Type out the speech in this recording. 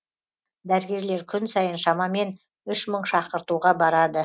дәрігерлер күн сайын шамамен үш мың шақыртуға барады